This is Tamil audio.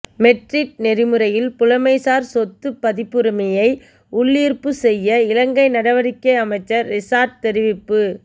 மெட்றிட் நெறிமுறையில் புலமைசார் சொத்துப் பதிப்புரிமையை உள்ளீர்ப்புச் செய்ய இலங்கை நடவடிக்கைஅமைச்சர் ரிஷாட் தெரிவிப்பு